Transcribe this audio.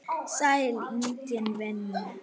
Sæll Ingvi minn.